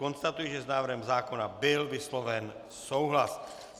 Konstatuji, že s návrhem zákona byl vysloven souhlas.